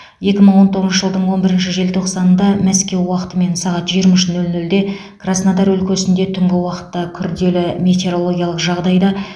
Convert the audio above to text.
екі мың он тоғызыншы жылдың он бірінші желтоқсанында мәскеу уақытымен сағат жиырма үш нөл нөлде краснодар өлкесінде түнгі уақытта күрделі метеорологиялық жағдайда